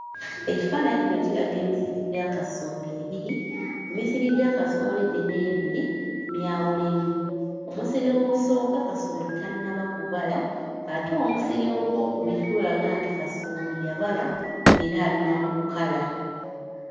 Ekifaananyi kino kiraga emisiri gya kasooli ebiri. Emisiri gya kasooli gino ebiri myawulemu: omusiri ogusooka kasooli tannaba kubala ate omusiri ogw'okubiri gulaga nti kasooli yabala era ali na mu kukala.